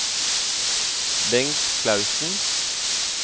Bengt Clausen